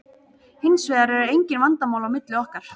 Hins vegar eru engin vandamál á milli okkar.